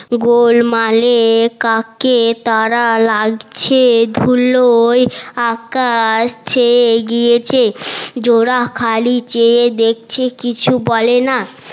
গোলমালে কাকে তারা লাগছে ধুলোয় আকাশ ছেয়ে গিয়েছে জোলা খালি চেয়ে দেখছে কিছু বলে না